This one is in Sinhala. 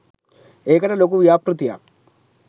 ඒකට ලොකු ව්‍යාපෘතියක්